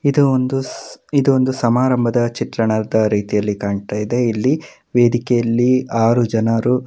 ಇದು ಒಂದು ಇದು ಒಂದು ಸಮಾರಂಭದ ಚಿತ್ರಣದ ರೀತಿಯಲ್ಲಿ ಕಾಣ್ತಾ ಇದೆ ಇಲ್ಲಿ ವೇದಿಕೆಯಲ್ಲಿ ಆರು ಜನರು --